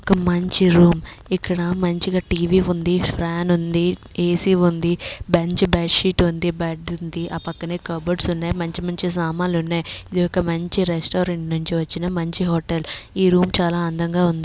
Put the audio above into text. ఒక మంచి రూమ్ . ఇక్కడ మంచిగా టీవీ ఉంది. ఫ్యాన్ ఉంది. ఏ_సి ఉంది. బెంచ్ బెడ్ షీట్ ఉంది. బెడ్ ఉంది. ఆ పక్కనే కప్ బోర్డ్స్ ఉన్నాయి. మంచి మంచి సామాన్లు ఉన్నాయి. ఇదొక మంచి రెస్టారంట్ నుంచి వచ్చిన మంచి హోటల్ . ఈ రూమ్ చాలా అందంగా ఉంది.